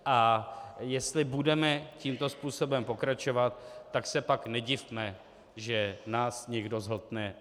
A jestli budeme tímto způsobem pokračovat, tak se pak nedivme, že nás někdo zhltne.